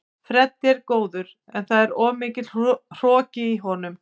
Freddi er góður en það er of mikill hroki í honum.